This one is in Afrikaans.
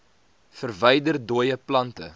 verwyder dooie plante